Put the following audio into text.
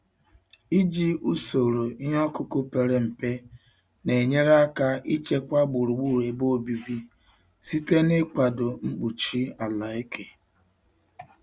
Iji usoro ịkọ ihe ọkụkụ pere mpe na-enyere aka ichekwa gburugburu ebe obibi site n'ịkwado mkpuchi ala eke.